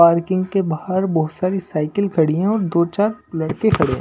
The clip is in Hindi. पार्किंग के बाहर बहुत सारी साइकिल खड़ी हैऔर दो-चार लड़के खड़े है।